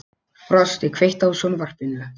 Frosti, kveiktu á sjónvarpinu.